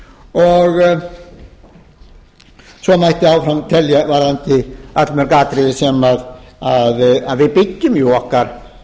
og svo mætti áfram telja varðandi allmörg atriði sem við byggjum okkar